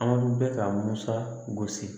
An bɛ ka musa gosi